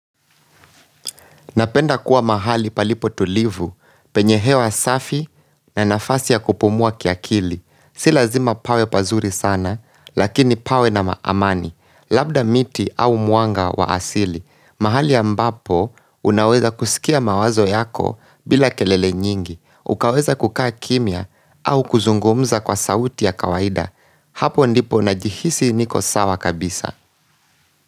Napenda kuwa mahali palipo tulivu, penye hewa safi na nafasi ya kupumua kiakili. Si lazima pawe pazuri sana, lakini pawe na amani, labda miti au mwanga wa asili. Mahali ambapo, unaweza kusikia mawazo yako bila kelele nyingi. Ukaweza kukaa kimia au kuzungumza kwa sauti ya kawaida. Hapo ndipo na jihisi niko sawa kabisa.